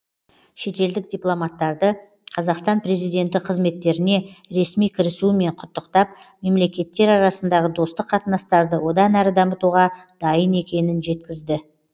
шетелдік дипломаттарды қазақстан президенті қызметтеріне ресми кірісуімен құттықтап мемлекеттер арасындағы достық қатынастарды одан әрі дамытуға дайын екенін жеткізді